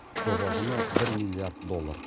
жоба құны бір миллиард доллар